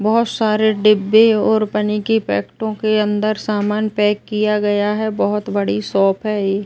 बहोत सारे डिब्बे और पन्नी के पैकेटो के अन्दर समान पैक किया गया है। बहोत बड़ी शॉप है ये।